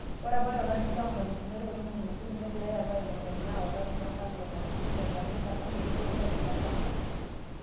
Ore apa olari le 2013 negirai apa aing'or enaa olari lolakwetani le Jamaika kake itu naa iyasa nena